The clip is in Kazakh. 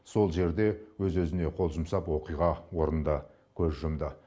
сол жерде өз өзіне қол жұмсап оқиға орнында көз жұмды